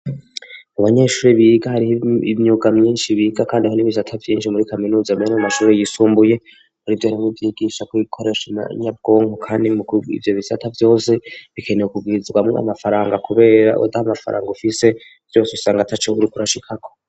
Mu banyeshuri biga hriho imyuga myinshi biga, kandi aho n'ibivsata vyinshi muri kaminuza amera mu mashuri yisumbuye ari vyo rimwo ivyigisha ko bikorasha na nyabwonko, kandi muk ivyo bisata vyose bikenewe ukugwirizwamwo amafaranga, kubera uda mafaranga ufise vyose usanga ata cokuri kurashikako.